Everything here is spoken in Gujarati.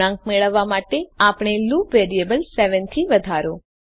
ગુણાંક મેળવવા માટે આપણે લુપ વેરિયેબલ 7 થી વધારો